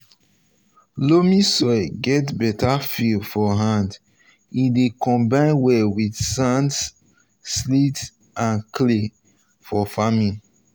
loamy soil get better feel for hand e dey combine well with sand silt and clay for farming.